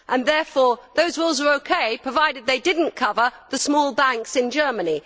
Therefore those rules are OK provided they did not cover the small banks in Germany?